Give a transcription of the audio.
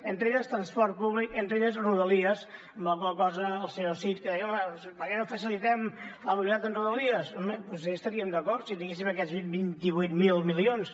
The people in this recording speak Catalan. entre elles transport públic entre elles rodalies amb la qual cosa el senyor cid que deia home per què no facilitem la unitat amb rodalies hi estaríem d’acord si tinguéssim aquests vint vuit mil milions